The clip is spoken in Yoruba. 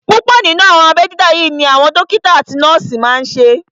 Púpọ̀ nínú àwọn abẹ́ dídá yí ni àwọn dókítà àti nọ́ọ̀sì máa n ṣe